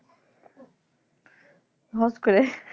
hot করে